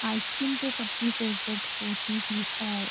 Ice cream तो सबकी favourite होती ही है।